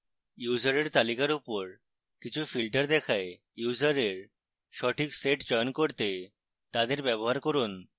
ইউসারের তালিকার উপর কিছু filters দেখায় ইউসারের সঠিক set চয়ন করতে তাদের ব্যবহার করুন